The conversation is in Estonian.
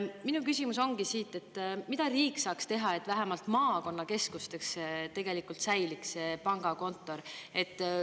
Minu küsimus ongi siit, mida riik saaks teha, et vähemalt maakonnakeskustes tegelikult säiliks see pangakontor.